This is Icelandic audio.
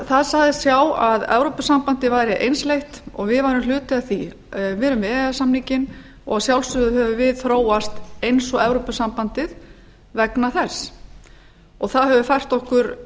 það sagðist sjá að evrópusambandið væri einsleitt og við værum hluti af því við erum með e e s samninginn og að sjálfsögðu höfum við þróast eins og evrópusambandið vegna þess það hefur fært okkur